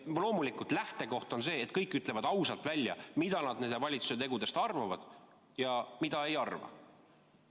Loomulikult on lähtekoht see, et kõik ütlevad ausalt välja, mida nad meie valitsuse tegudest arvavad ja mida ei arva.